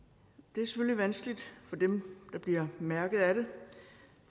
det er selvfølgelig vanskeligt for dem der bliver mærket af det